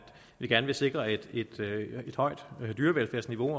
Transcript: vi gerne vil sikre et højt dyrevelfærdsniveau